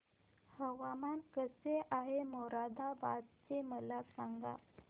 हवामान कसे आहे मोरादाबाद चे मला सांगा